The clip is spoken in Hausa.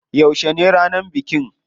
Yauce ne ranar bikin?